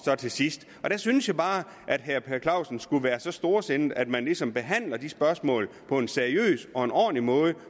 til sidst der synes jeg bare at herre per clausen skulle være så storsindet at man ligesom behandler de spørgsmål på en seriøs og en ordentlig måde